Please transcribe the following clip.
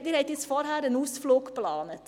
Sie haben vorhin einen Ausflug geplant.